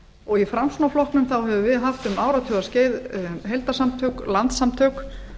og í framsfl höfum við haft um áratugaskeið heildarsamtök landssamtök